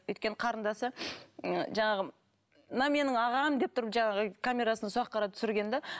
өйткені қарындасы жаңағы мынау менің ағам деп тұрып жаңағы камерасын сол жаққа қарап түсірген де